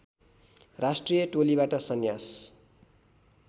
राष्ट्रिय टोलीबाट सन्यास